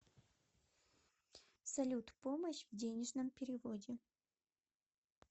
салют помощь в денежном переводе